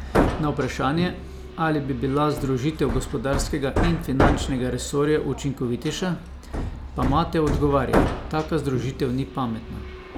Na vprašanje, ali bi bila združitev gospodarskega in finančnega resorja učinkovitejša, pa Mate odgovarja: "Taka združitev ni pametna.